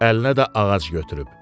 Əlinə də ağac götürüb.